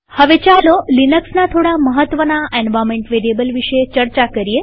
હવે ચાલો લિનક્સના થોડા મહત્વના એન્વાર્નમેન્ટ વેરીએબલ વિશે ચર્ચા કરીએ